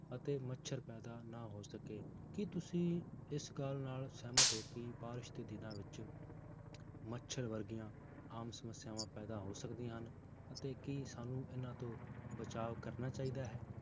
ਅਤੇ ਮੱਛਰ ਪੈਦਾ ਨਾ ਹੋ ਸਕੇ ਕੀ ਤੁਸੀਂ ਇਸ ਗੱਲ ਨਾਲ ਸਹਿਮਤ ਹੋ ਕੇ ਬਾਰਿਸ਼ ਦੇ ਦਿਨਾਂ ਵਿੱਚ ਮੱਛਰ ਵਰਗੀਆਂ ਆਮ ਸਮੱਸਿਆਵਾਂ ਪੈਦਾ ਹੋ ਸਕਦੀਆਂ ਹਨ, ਅਤੇ ਕੀ ਸਾਨੂੰ ਇਹਨਾਂ ਤੋਂ ਬਚਾਵ ਕਰਨਾ ਚਾਹੀਦਾ ਹੈ?